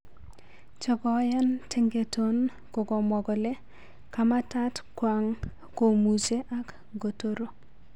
che koyaan tengeton kokomwa kole kamatat kwang komuche ang ngotoro